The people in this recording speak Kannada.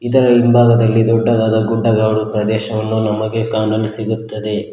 ಇದರ ಹಿಂಬಾಗದಲ್ಲಿ ದೊಡ್ಡದಾದ ಗುಡ್ಡಗಾಡು ಪ್ರದೇಶವನ್ನು ನಮಗೆ ಕಾಣಲು ಸಿಗುತ್ತದೆ.